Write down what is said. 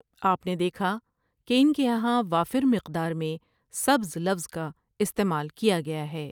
آپ نے دیکھا کہ ان کے یہاں وافر مقدار میں سبز لفظ کا استعمال کیاگیاہے ۔